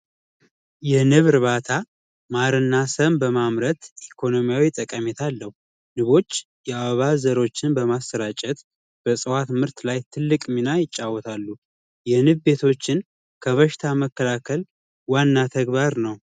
የንብ እርባታ ማር እና ሰም በማምረትኢኮኖሚያዊ ጠቀሜታ አለው። ንቦች የአበባ ዘሮችን በማሰራጨት በእፅዋት ምርት ላይ ትልቅ ሚና ይጫወታሉ። የንብ ቤቶችን ከበሽታ መከላከል ዋና ተግባር ነው።